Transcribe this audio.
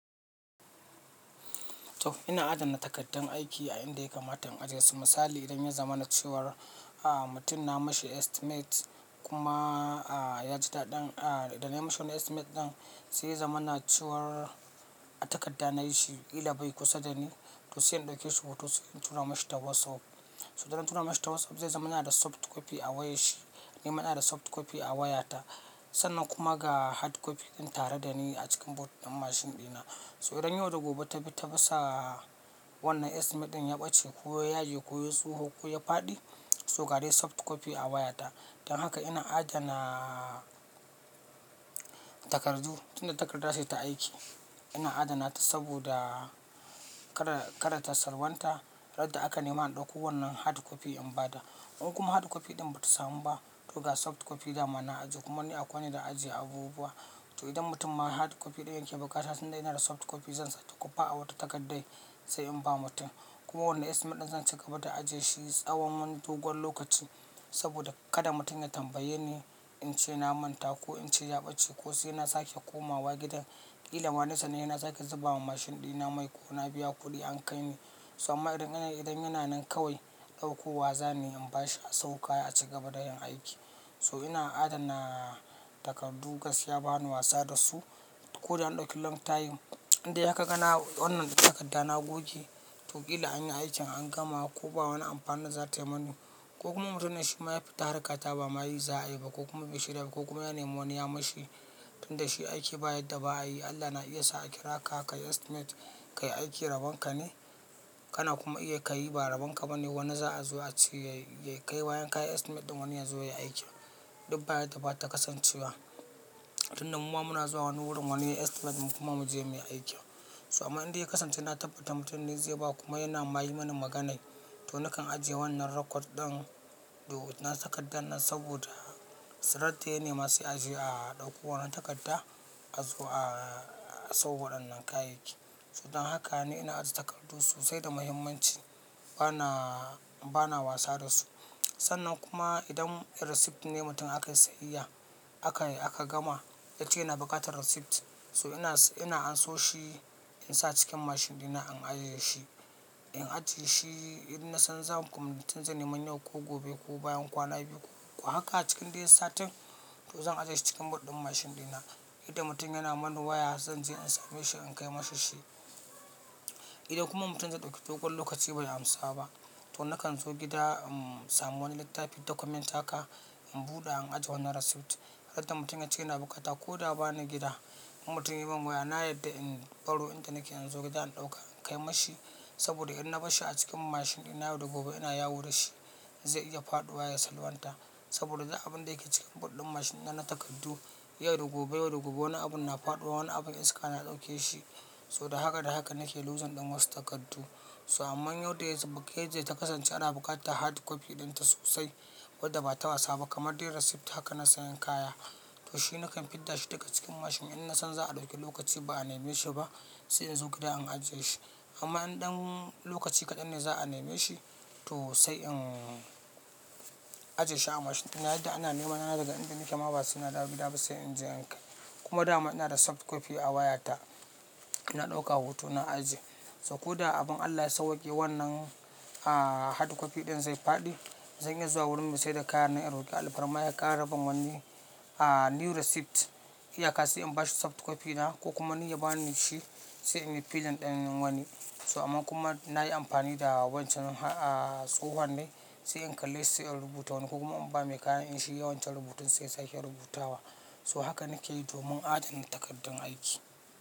To ina adana takardun aiki a inda ya kamata in ajiye su. Misali idan ya zamana cewar, ah mutum na mishi estimate kuma ah ya ji daɗin ah da na yi mishi wannan estimate ɗin zai zamana cewar a takarda nayi shi kila bai kusa da ni to sai in ɗauki surutu sai in tura mishi ta WhatsApp. To idan na tura mishi ta WhatsApp zai zama yana da soft copy a wayar shi, ni ma ina da soft copy a wayata. Sannan kuma ga hard copy din tare da ni a cikin boot ɗin mashin ɗina. So idan yau da gobe ta bi ta bisa wannan estimate ɗin ya ɓace ko ya yage ko ya yi tsoho ko ya faɗi, so ga dai soft copy a waya ta. Don haka ina adana takardu tunda takarda ce ta aiki ina adana ta saboda kada--kada ta salwanta randa aka nema in ɗauko wannan hard copy in ba da. In kuma hard copy ɗin bata samu ba to ga soft copy dama na ajiye kuma ni akwai inda zan ajiye abubuwa. To idan mutum ma hard copy ɗin ya ke bukata tunda ina da soft copy zan sake kofa a wata takardan sai in ba mutum. Kuma wannan estimate ɗin zan ci gaba da ajiye shi tsawon wani dogon lokaci saboda kada mutum ya tambaye ni in ce na manta ko in ce ya ɓace ko sai ina sake komawa gidan. Kila ma na sa ni sai na sake zubawa mashin ɗina mai ko na biya kuɗi an kai ni. To amma idan ina yi, idan yana nan kawai ɗauko wa zana yi in ba shi a sayo kaya a ci gaba da yin aiki. To ina adana takardu gaskiya bani wasa da su. Ko da an ɗauki long time indai har ka ga na wannan din takarda na goge to kila anyi aikin an gama ko ba wani amfani za tayi mani. Ko kuma mutumin shi ma ya fita harkata ba ma yi za'a yi ba ko kuma bai shirya ba ko kuma ya nemi wani ya mishi tunda shi aiki ba yadda ba a yi. Allah na iya sa a kira ka ka yi estimate ka yi aiki rabon ka ne kana kuma iya ka yi ba rabon ka bane wani za'a zo a ce yayi--ya kai bayan kayi estimate ɗin wani ya zo ya aiki. Duk ba yadda bata kasancewa. Tunda muma muna zuwa wani wurin wani yayi estimate din kuma mu je muyi aiki. To amma indai ya kasance na tabbata mutum ne zai bawa kuma yana ma yi mana magana to nakan ajiye wannan record ɗin da wannan takarda nan saboda sai randa ya nema sai aje a ɗauko wannan takarda a zo a sayo wadannan kayayyaki. To don haka ni ina ajiye takardu sosai da mahimmanci bana--bana wasa da su. Sannan kuma idan receipt ne mutum aka yi sayayya aka yi aka gama ya ce yana buƙatar receipt so ina--ina anso shi in sa a cikin mashin ɗina in ajjiye shi. In ajiye shi in na san zan ko mutum zai nema yau ko gobe ko bayan kwana biyu ko haka a cikin dai satin to zan ajiye shi cikin boot ɗin mashin ɗina. Idan mutum yana mana waya zan je in same shi in kai masa shi. Idan kuma mutum zai ɗauki dogon lokaci bai amsa ba to nakan zo gida in samu wani littafi document haka in buɗa in ajiye wannan receipt. Randa mutum ya ce yana bukata ko da ba na gida in mutum ya min waya na yarda in ɓaro inda nake in zo gida in ɗauka in kai mi shi saboda in na barshi a cikin mashin ɗina yau da gobe ina yawo da shi zai iya faɗiwa ya salwanta saboda duk abun da yake cikin boot ɗin mashin na na takardu. Yau da gobe--yau da gobe wani abun na faɗiwa wani abun iska na ɗauke shi. To da haka--da haka nake losing ɗin wasu takardu. So amman in wanda ya subuke yadda ta kasance ana buƙatar hard copy ɗinta sosai wadda bata wasa ba kamar dai receipt haka na sayan kaya to shi nakan fidda shi daga cikin mashin in na san za'a ɗauki lokaci ba a nema shi ba sai in zo gida in ajiye shi. Amma in ɗan lokaci kaɗan ne za'a nema shi to sai in ajiye shi a mashin ɗina yadda ana nema na daga inda nake ma ba sai na dawo gida ba sai in je in kai. Kuma da ma ina da soft copy a waya ta, na ɗauka hoto na ajiye. So ko da abun Allah ya sauwaƙe wannan ah hard copy ɗin zai faɗi zan iya zuwa wurin mai saida kayan nan in roƙi alfarma ya ƙara ban wani ah new receipt iyaka sai in ba shi soft copy na ko kuma ni ya bani shi sai in yi filin ɗin wani. To amma kuma na yi amfani da wancan ah tsohuwan ne sai in kalli sai in rubuta wani ko kuma in ba mai kayan din shi yayi wancan rubutun sai ya sake rubutawa. To haka nake yi domin adana takardun aiki.